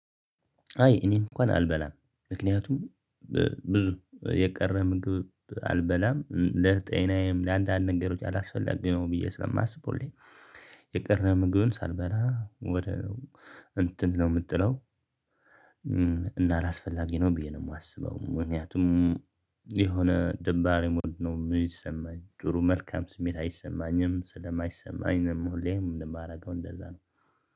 አይ እኔ እንኳን አልበላም ምክንያቱም ብዙ የቀረ ምግብ አልበላም ለጤናዬም ለአንዳንድ ንገሮች አላስፈለግኩም ብዬ ስለማስበውልኝ። የቀረም ምግብ ሳልበላ ወደ እንትን ነው የምትለው። እና አላስፈላጊ ነው ብዬ ነው የማስበው። የሆነ ደባሪ ሙድ ነው የሚሰማኝ ጥሩ መልካም ስሜት አይሰማኝም ስለማይሰማኝ ነው ሁሌም የማደርገው እንደዛ ነው።